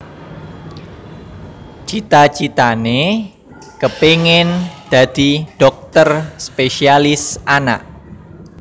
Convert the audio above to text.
Cita citané kepéngin dadi dhokter spésialis anak